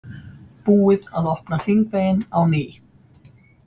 Búið að opna hringveginn á ný